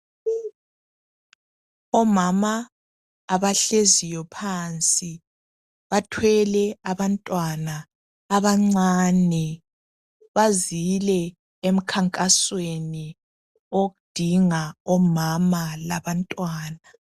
Omama abahleziyo phansi bathwele abantwana abancane bazile emkhankasweni odinga omama labantwana.